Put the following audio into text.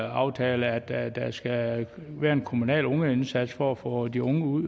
aftale at der skal være en kommunal ungeindsats for at få de unge ud